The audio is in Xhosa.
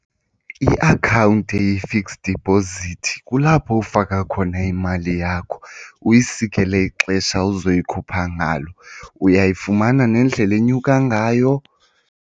Iakhawunti eyi-fixed deposit kulapho ufaka khona imali yakho uyisikele ixesha uzoyikhupha ngalo. Uyayifumana nendlela enyuka ngayo.